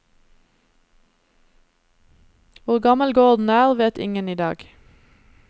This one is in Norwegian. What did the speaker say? Hvor gammel gården er, vet ingen i dag.